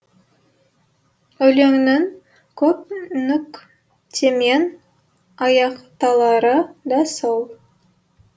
өлеңнің көп нүктемен аяқталары да сол